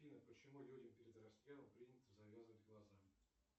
афина почему людям перед расстрелом принято завязывать глаза